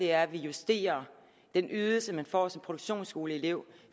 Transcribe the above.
er at vi justerer den ydelse man får som produktionsskoleelev